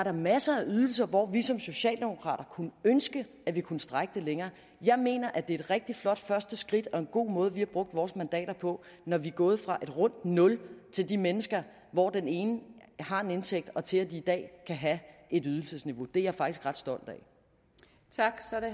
er masser af ydelser hvor vi som socialdemokrater kunne ønske at vi kunne strække det længere jeg mener at det er et rigtig flot første skridt og en god måde vi har brugt vores mandater på når vi er gået fra et rundt nul til de mennesker hvor den ene har en indtægt og til at de i dag kan have et ydelsesniveau det er jeg faktisk ret stolt